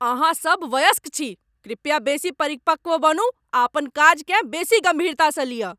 अहाँ सभ वयस्क छी! कृपया बेसी परिपक्व बनू आ अपन काजकेँ बेसी गम्भीरतासँ लिय ।